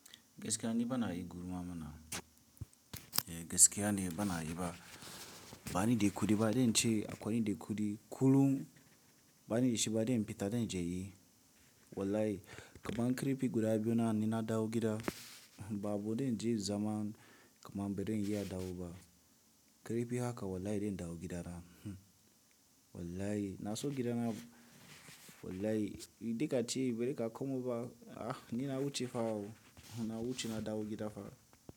Gaskiya ni bana yi gulma mana. Eh gaskiya ne bana yi ba. Bani da kudi ba, dai in ce akwai dai kudi. Kullum bani da shi ba dai in fita dai in je yi. Wallahi kamar kirifi guda biyu na nina dawo gida, babu dai in je zaman kamar bari in yi adawa ba. Kirifi haka wallahi dai in dawogida na. Wallahi na so gida na. Wallahi, in dai ka ce bari ka komo ba, ah nina wuce fa o, nina wuce ina dawogida fa.